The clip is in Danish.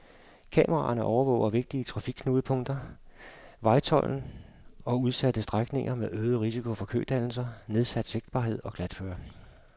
Kameraerne overvåger vigtige trafikknudepunkter, vejtolden og udsatte strækninger med øget risiko for kødannelser, nedsat sigtbarhed og glatføre.